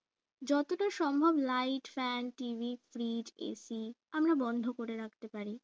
যতদূর সম্ভব light fanTVfridgeAC আমরা বন্ধ করে রাখতে পারি